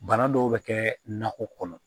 Bana dɔw bɛ kɛ nakɔ kɔnɔ